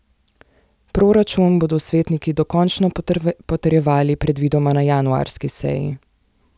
Proračun bodo svetniki dokončno potrjevali predvidoma na januarski seji.